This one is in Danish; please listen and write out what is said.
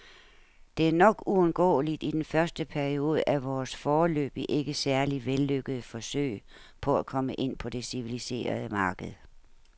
Det er nok uundgåeligt i den første periode af vores, foreløbig ikke særlig vellykkede, forsøg på at komme ind på det civiliserede marked.